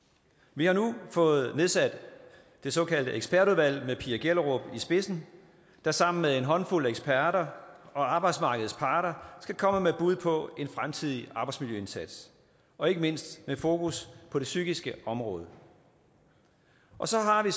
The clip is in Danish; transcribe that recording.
vi har nu fået nedsat det såkaldte ekspertudvalg med pia gellerup i spidsen der sammen med en håndfuld eksperter og arbejdsmarkedets parter skal komme med bud på en fremtidig arbejdsmiljøindsats og ikke mindst med fokus på det psykiske område så har vi